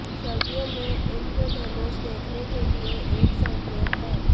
सर्दियों में इंद्रधनुष देखने के लिए एक संकेत है